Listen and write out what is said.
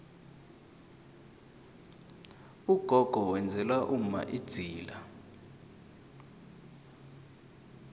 ugogo wenzela umma idzila